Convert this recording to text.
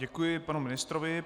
Děkuji panu ministrovi.